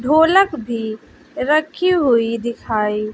ढोलक भी रखी हुई दिखाई--